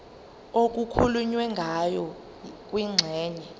okukhulunywe ngayo kwingxenye